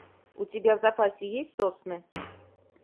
у тебя в запасе есть сосны